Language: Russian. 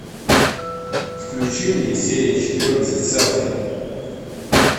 включи мне серия четырнадцать селфи